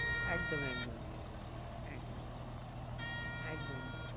একদম একদম একদম একদম